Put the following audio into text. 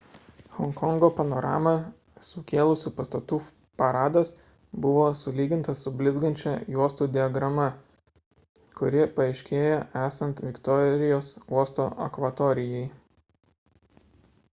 honkongo panoramą sukėlusių pastatų paradas buvo sulygintas su blizgančia juostų diagrama kuri paaiškėja esant viktorijos uosto akvatorijai